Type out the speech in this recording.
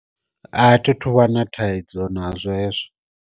A thi tuvha na thaidzo nazwo hezwo.